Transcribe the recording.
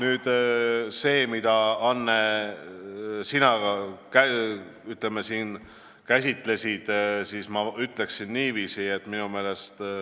Selle kohta, mida, Anne, sina siin käsitlesid, ütleksin ma niiviisi.